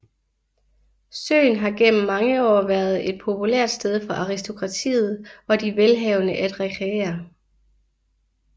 Søen har gennem mange år været et populært sted for aristokratiet og de velhavende at rekreere